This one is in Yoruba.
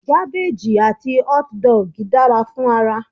Gabbage àti hotdog dara fún ara